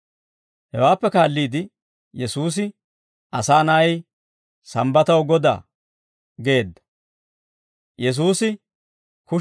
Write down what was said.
Hawaappe kaalliide Yesuusi, «Asaa na'ay sambbataw Godaa!» geedda.